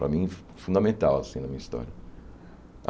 Para mim, fun fundamental, assim, na minha história.